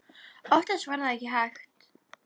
Oftast var það ekki hægt.